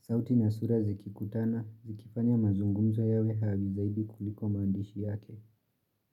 Sauti na sura zikikutana, zikifanya mazungumzo yawe zaidi kuliko maandishi yake.